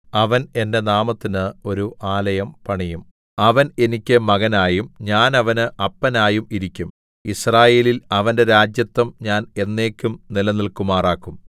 അവൻ എന്റെ നാമത്തിന് ഒരു ആലയം പണിയും അവൻ എനിക്ക് മകനായും ഞാൻ അവന് അപ്പനായും ഇരിക്കും യിസ്രായേലിൽ അവന്റെ രാജത്വം ഞാൻ എന്നേക്കും നിലനില്‍ക്കുമാറാക്കും